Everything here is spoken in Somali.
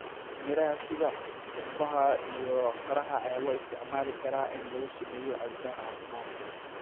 Miraha sida canbaha iyo qaraha ayaa loo isticmaali karaa in lagu sameeyo cabitaan caafimaad leh.